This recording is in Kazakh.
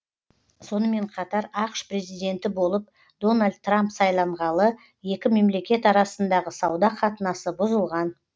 сонымен қатар ақш президенті болып дональд трамп сайланғалы екі мемлекет арасындағы сауда қатынасы бұзылған